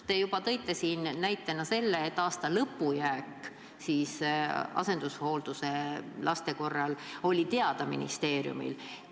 Te juba tõite siin näite, et aasta lõpu jääk asendushooldusel olevate laste korral oli ministeeriumile teada.